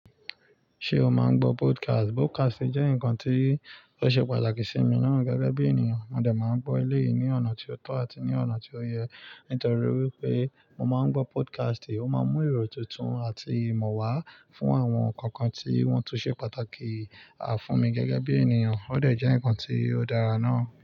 Ṣé o máa ń gbọ́ podcast? Podcast jẹ́ nǹkan tí ó ṣe pàtàkì sí mi naa gẹ́gẹ́ bí ènìyàn. Mo de máa ń gbọ́ eleyìí ní ọ̀nà tí ó tọ́ àti ní ọ̀nà tí ó yẹ. Nítorí wípé mo máa ń gbọ́ podcast, ó máa ń mú ìró tuntun àti ìmọ̀ wá fún àwọn nǹkan tí wọ́n tún ṣe pàtàkì á fún mi gẹ́gẹ́ bí ènìyàn. Ó de jẹ́ ǹkan tí ó dára ná.